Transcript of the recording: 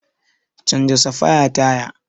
Canja safaya taya.